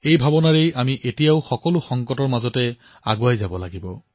এই ভাৱনাৰ সৈতে আি আজিও এই সংকটৰ মাজেৰেই আগবাঢ়িব লাগিব